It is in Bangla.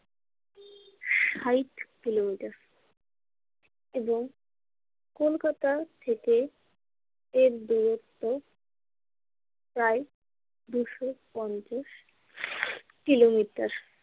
ষাইট কিলোমিটার এবং কলকাতা থেকে এর দুরত্ব প্রায় দুশো পঞ্চাশ কিলোমিটার।